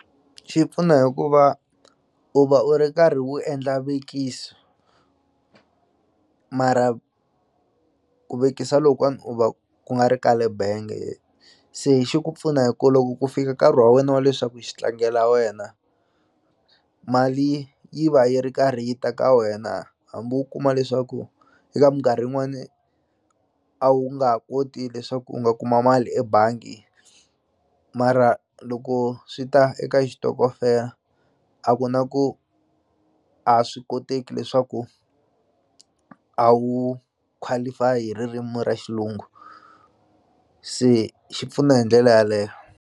Xi pfuna hikuva u va u ri karhi wu endla vekiso mara ku vekisa lokuwani u va ku nga ri ka le benge se xi ku pfuna hi ku loko ku fika nkarhi wa wena wa leswaku xi tlangela wena mali yi va yi ri karhi yi ta ka wena hambi u kuma leswaku eka minkarhi yin'wani a wu nga ha koti leswaku u nga kuma mali ebangi mara loko swi ta eka xitokofela a ku na ku a swi koteki leswaku a wu qualify hi ririmi ra xilungu se xi pfuna hi ndlela yaleyo.